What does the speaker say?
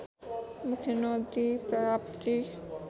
मुख्य नदी राप्ती